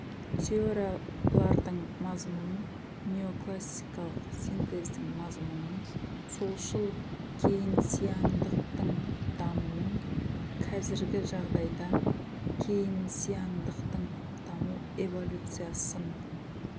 теориялардың мазмұнын неоклассикалық синтездің мазмұнын солшыл кейнсиандықтың дамуын кәзіргі жағдайда кейнсиандықтың даму эволюциясын